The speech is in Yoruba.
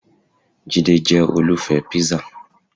Jide jẹ́ olùfẹ́ píṣà